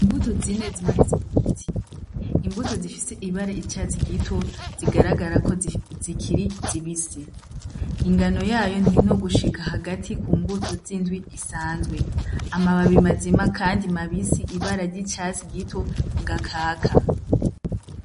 Imbuto zine zimanitse ku giti, imbuto zifise ibara icatsi gito zigaragara ko zikiri zibisi, ingano yayo ntinogushika hagati ku mbuto z'indwi isanzwe amababi mazima, kandi mabisi ibara ry'icatsi gito ga kaka.